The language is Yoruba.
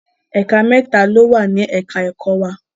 Ẹ̀ka mẹ́ta ló wà ní ẹ̀ka ẹ̀kọ́ wa.